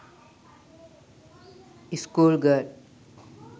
school girl